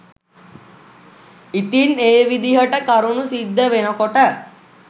ඉතින් ඒ විදිහට කරුණු සිද්ධ වෙනකොට